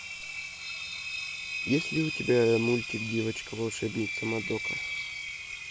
есть ли у тебя мультик девочка волшебница мадока